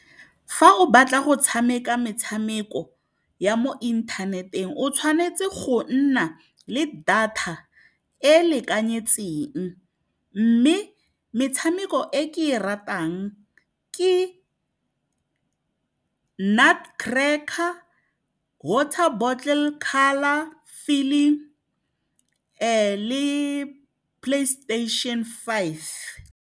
Fa o batla go tshameka metshameko ya mo inthaneteng, o tshwanetse go nna le data e lekanyetseng. Mme metshameko e ke e ratang ke Nut Cracker, Water Bottle Colour Filling, le PlayStation Five.